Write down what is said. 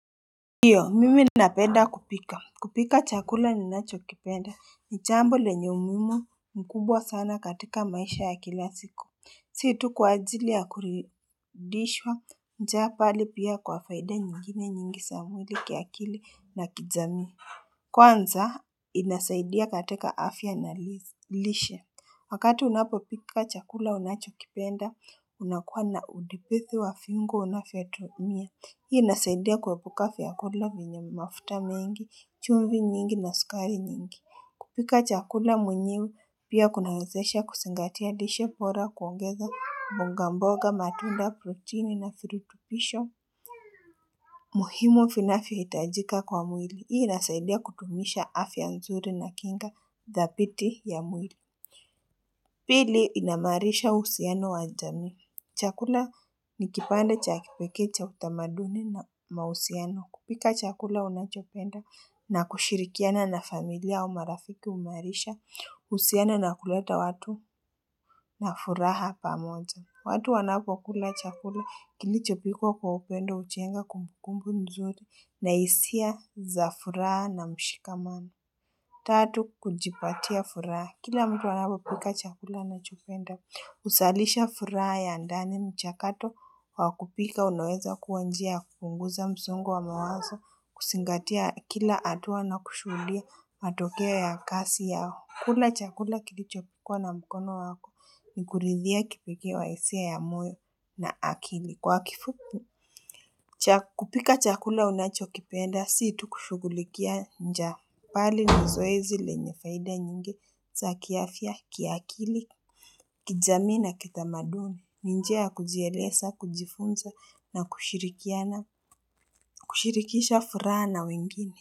Iyo, mimi napenda kupika. Kupika chakula ninachokipenda ni chambo lenye umimu mkubwa sana katika maisha ya kila siku. Situ kwa ajili ya kuridishwa, njaa pali pia kwa faida nyingine nyingi samwili kiakili na kijami. Kwanza, inasaidia katika afya na lishe. Wakati unapo pika chakula unachokipenda, unakuwa na udipithi wa fingo unafiatumia. Hii inasaidia kuwepuka vyakula minyami mafuta mengi, chumvi nyingi na skari nyingi. Kupika chakula mwenyewe pia kunaezesha kusingatia dishe pora kuongeza mbonga mboga matunda, proteini na fritupisho. Muhimu vinafi hitajika kwa mwili. Hii inasaidia kutumisha afi anzuri na kinga dhapiti ya mwili. Pili inamarisha usiano wa jami. Chakula nikipanda chakipeke cha utamaduni na mahusiano. Kupika chakula unachopenda na kushirikiana na familia umarafiki umarisha usiana na kuleta watu na furaha pamoza. Watu wanapo kula chakula kini chopikwa kwa upendo uchenga kumkumbu mzuri na isia za furaha na mshikamana. Tatu, kujipatia furaha. Kila mtu wanapo pika chakula unachopenda. Usalisha fura ya ndani mchakato wakupika unoeza kuwanjia kufunguza mzungu wa mawazo kusingatia kila atuwa na kushulia matokea ya kasi yao. Kula chakula kilichokwa na mkono wako ni kuridhia kipike wa isia ya muyo na akili. Kwa kifupu, kupika chakula unachokipenda, siitu kushugulikia nja pali nzoezi lenyefaida nyingi za kiafya, kiaakili, kizamina kita maduni, njia kuzielesa, kujifunza na kushirikia na kushirikisha furana wengine.